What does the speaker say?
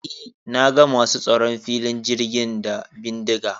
E, na ga masu tsaron filin jirgin da bindiga.